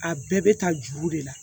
A bɛɛ bɛ taa juru de la